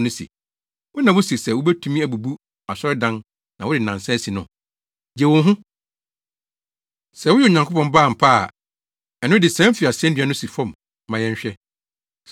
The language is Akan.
se, “Wo na wuse sɛ wubetumi abubu asɔredan na wode nnansa asi no, gye wo ho! Sɛ woyɛ Onyankopɔn Ba ampa ara a, ɛno de sian fi asennua no so si fam ma yɛnhwɛ!”